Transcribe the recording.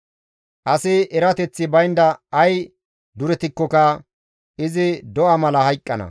Asi erateththi baynda ay duretikkoka izi do7a mala hayqqana.